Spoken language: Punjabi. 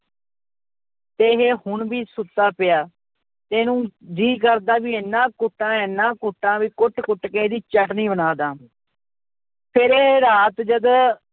ਤੇ ਇਹ ਹੁਣ ਵੀ ਸੁੱਤਾ ਪਿਆ ਤੇ ਇਹਨੂੰ ਜੀਅ ਕਰਦਾ ਵੀ ਇੰਨਾ ਕੁੱਟਾਂ ਇੰਨਾ ਕੁੱਟਾਂ ਵੀ ਕੁੱਟ ਕੁੱਟ ਕੇ ਇਹਦੀ ਚਟਣੀ ਬਣਾ ਦੇਵਾਂ ਫਿਰ ਇਹ ਰਾਤ ਜਦ